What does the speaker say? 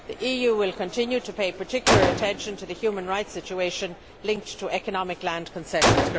The EU will continue to pay particular attention to the human rights situation linked to economic land concessions.